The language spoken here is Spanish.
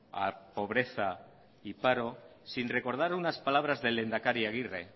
a pobreza y paro sin recordar unas palabras del lehendakari agirre